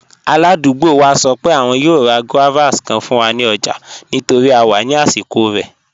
Aládùgbò wa sọ pé àwọn yòò rá guavas kàn fún wa ní ọ̀jà nítorí à wà ní àsìkò rẹ̀.